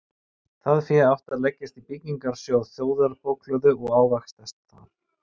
Það fé átti að leggjast í byggingarsjóð þjóðarbókhlöðu og ávaxtast þar.